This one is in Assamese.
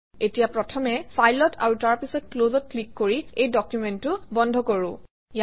এতিয়া প্ৰথমে File অত আৰু তাৰপিছত Close অত ক্লিক কৰি এই ডকুমেণ্টটো বন্ধ কৰোঁ